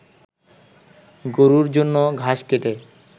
গরুর জন্য ঘাস কেটে